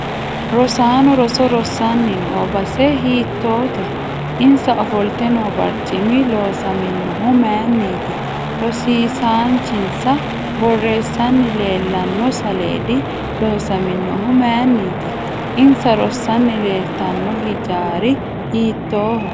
Rosaanno roso rossanni noo base hiitoote insa ofolte noo barcimi loosamonohu mayiiniti rosiisaanchinsa boreesanni leelanno saleedi loosaminohu mayiiniti insa rossanni leeltanno hijaari hiitooho